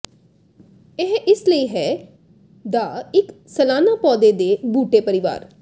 ਇਹ ਇਸ ਲਈ ਹੈ ਦਾ ਇੱਕ ਸਾਲਾਨਾ ਪੌਦੇ ਦੇ ਬੂਟੇ ਪਰਿਵਾਰ